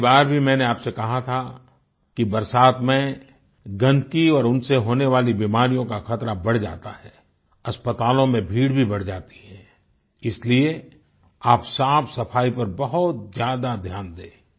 पिछली बार भी मैंने आप से कहा था कि बरसात में गन्दगी और उनसे होने वाली बीमारी का खतरा बढ़ जाता है अस्पतालों में भीड़ भी बढ़ जाती है इसलिए आप साफ़सफ़ाई पर बहुत ज्यादा ध्यान दें